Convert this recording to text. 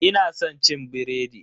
Ina san cin biredi.